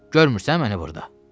Görmürsən məni burda?